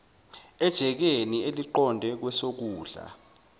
ejikeni eliqonde kwesokudla